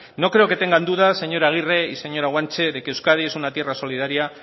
no creo que tengan dudas señora agirre y señora guanche de que euskadi es una tierra solidaria